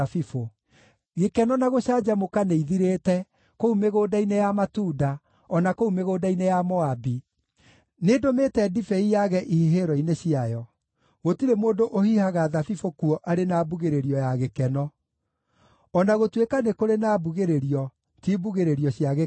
Gĩkeno na gũcanjamũka nĩithirĩte kũu mĩgũnda-inĩ ya matunda, o na kũu mĩgũnda-inĩ ya Moabi. Nĩndũmĩte ndibei yage ihihĩro-inĩ ciayo; gũtirĩ mũndũ ũhihaga thabibũ kuo arĩ na mbugĩrĩrio ya gĩkeno. O na gũtuĩka nĩ kũrĩ na mbugĩrĩrio, ti mbugĩrĩrio cia gĩkeno.